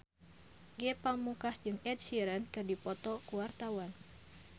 Ge Pamungkas jeung Ed Sheeran keur dipoto ku wartawan